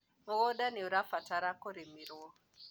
mũgũnda nĩũrabatara kũrĩmirwo